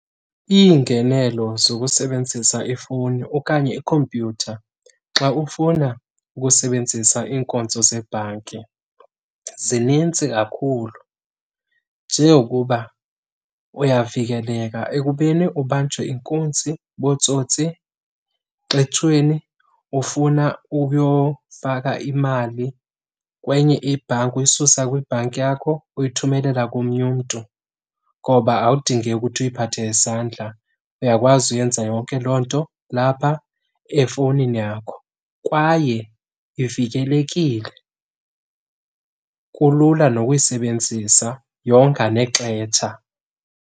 Iingenelo zokusebenzisa ifowuni okanye ikhompyutha xa ufuna ukusebenzisa iinkonzo zebhanki zinintsi kakhulu. Njengokuba uyavikeleka ekubeni ubanjwe inkunzi bootsotsi xetshweni ufuna ukuyofaka imali kwenye ibhanki, uyisusa kwibhanki yakho uyithumelela komnye umntu ngoba awudingeki ukuthi uyiphathe ngesandla. Uyakwazi uyenza yonke loo nto lapha efowunini yakho kwaye ivikelekile. Kulula nokuyisebenzisa, yonga nexetsha.